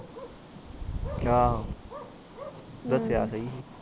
ਅੱਛਾ ਦਸਿਆ ਸ